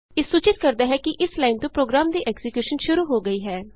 ਇਹ ਸੂਚਿਤ ਕਰਦਾ ਹੈ ਕਿ ਇਸ ਲਾਈਨ ਤੋਂ ਪ੍ਰੋਗਰਾਮ ਦੀ ਐਕਜ਼ੀਕਿਯੂਸ਼ਨ ਸ਼ੁਰੂ ਹੋ ਗਈ ਹੈ